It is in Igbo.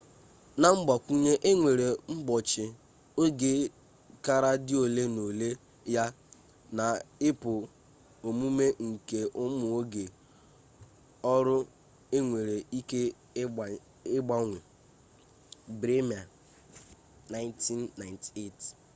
na mgbakwunye e nwere mgbochi oge kara dị ole na ole ya na ịpụ omume nke ụmụ oge ọrụ enwere ike ịgbanwe. bremer 1998